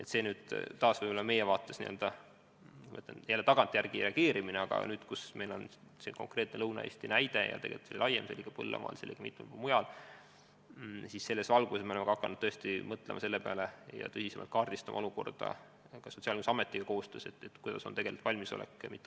Eks see on taas meie vaates tagantjärele reageerimine, aga nüüd, kus meil on see konkreetne näide Lõuna-Eestis juhtunu näol, siis selles valguses me oleme hakanud mõtlema selle peale, et Sotsiaalkindlustusametiga koostöös tuleb kaardistada tegeliku valmisoleku seis.